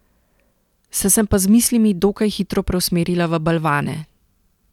Sem se pa z mislimi dokaj hitro preusmerila v balvane.